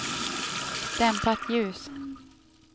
dämpat ljus